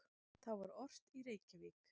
Þá var ort í Reykjavík